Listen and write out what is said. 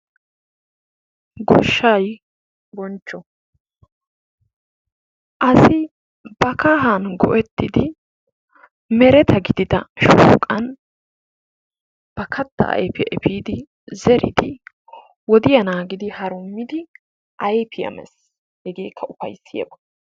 Goshshaay bonchcho, asi ba kahaani go'ettid meretta gidida shooqani ba katta ayfiyaa efidi zeriddi wodiya naagidi harummidi ayfiya mees, hegeekka ufayssiyba.